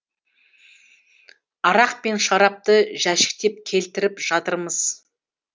арақ пен шарапты жәшіктеп келтіріп жатырмыз